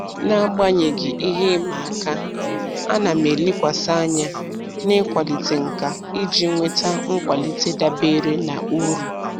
N'agbanyeghị ihe ịma aka, a na m elekwasị anya n'ịkwalite nkà iji nweta nkwalite dabere na uru.